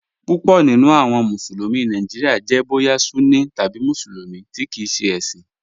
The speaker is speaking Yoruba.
Púpọ̀ nínu awọn Musulumi Nàìjíríà jẹ̀ bóyà Sunní tabi Musulumi tí kìí ṣẹ ẹ̀ṣin.